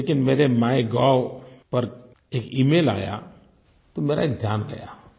लेकिन मेरे माइगोव पर एक इमेल आया तो मेरा ध्यान गया